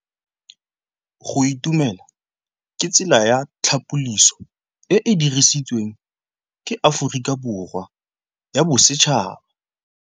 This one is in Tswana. Go itumela ke tsela ya tlhapolisô e e dirisitsweng ke Aforika Borwa ya Bosetšhaba.